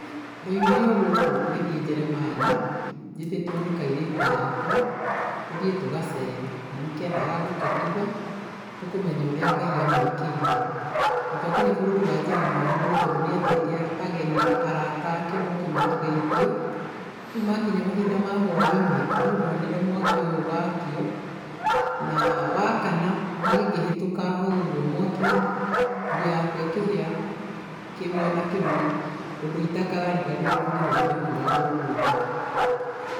Ndaumire o gũkũ ngithiĩ Njeremani njĩtĩtwo nĩ kairitu gakwa, tũthiĩ tũgacere, na nĩkendaga gũtũtuga nĩkũmenya ũrĩa Ngai a mũĩkĩire. Na twakinya bũrũri wa Njeremani nĩ tondũ nĩetĩte ageni arata ake moke matũgeithie, rĩu makinya mahinda mahwa-inĩ nĩĩndonire mwaki ũyũ wakio na wakana niĩngĩhĩtũka haũ mwaki-inĩ nguo yakwa ĩkĩhĩa kĩmwena kĩmwe ũndũ itakariganĩrwo nginya mũthenya wa ũmũthĩ.